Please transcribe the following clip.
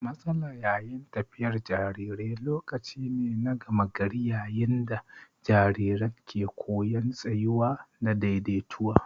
Matsala yayin tafiyar jarirai lokaci ne na gama gari yayin da jariran ke koyan tsayuwa da daidaituwa.